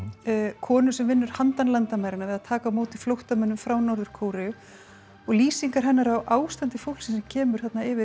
konu sem vinnur handan landamæranna við að taka á móti flóttamönnum frá Norður Kóreu og lýsingar hennar á ástandi fólksins sem kemur yfir